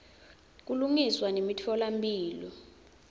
kulungiswa nemitfola mphilo